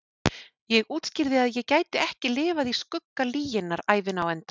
Ég útskýrði að ég gæti ekki lifað í skugga lyginnar ævina á enda.